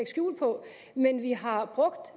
skjul på men vi har brugt